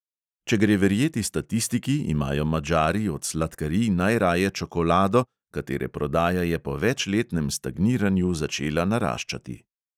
Če gre verjeti statistiki, imajo madžari od sladkarij najraje čokolado, katere prodaja je po večletnem stagniranju začela naraščati.